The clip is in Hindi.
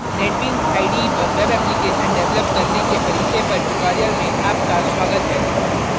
netbeans ide पर वेब एप्लिकेशन डेवलप करने के परिचय पर ट्यूटोरियल में आपका स्वागत है